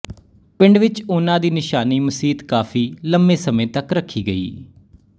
ਪਿੰਡ ਵਿੱਚ ਉਹਨਾਂ ਦੀ ਨਿਸ਼ਾਨੀ ਮਸੀਤ ਕਾਫ਼ੀ ਲੰਮੇ ਸਮੇਂ ਤੱਕ ਰੱਖੀ ਗਈ